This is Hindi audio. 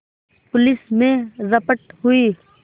पुलिस में रपट हुई